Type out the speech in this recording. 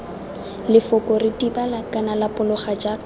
lefoko ritibala kana lapologa jaka